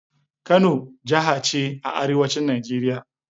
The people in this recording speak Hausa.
Kano jaha ce a arewacin Najeriya.